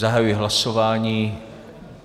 Zahajuji hlasování.